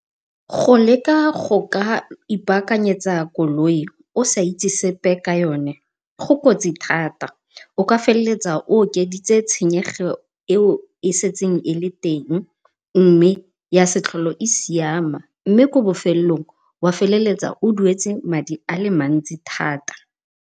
Go leka go ka ipaakanyetsa koloi o sa itse sepe ka yone go kotsi thata, o ka feleletsa o okeditse tshenyego e o e setseng e le teng mme ya se tlhole e siama. Mme ko bofelelong wa feleletsa o duetse madi a le mantsi thata.